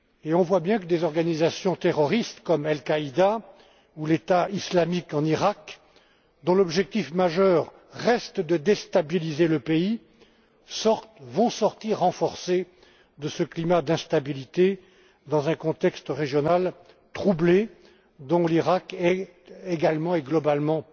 On voit bien que des organisations terroristes comme Al Qaïda ou l'État islamique en Iraq, dont l'objectif majeur reste de déstabiliser le pays, vont sortir renforcées de ce climat d'instabilité dans un contexte régional troublé dont l'Iraq est également et globalement